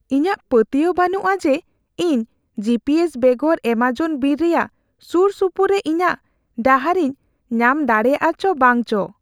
ᱤᱧᱟᱹᱜ ᱯᱟᱹᱛᱭᱟᱹᱣ ᱵᱟᱹᱱᱩᱜᱼᱟ ᱡᱮ, ᱤᱧ ᱡᱤᱹᱯᱤᱹᱮᱥ ᱵᱮᱜᱚᱨ ᱮᱢᱟᱡᱚᱱ ᱵᱤᱨ ᱨᱮᱭᱟᱜ ᱥᱩᱨ ᱥᱩᱯᱩᱨ ᱨᱮ ᱤᱧᱟᱜ ᱰᱟᱦᱟᱨᱤᱧ ᱧᱟᱢ ᱫᱟᱲᱮᱭᱟᱜᱼᱟ ᱪᱚ ᱵᱟᱝᱪᱚ ᱾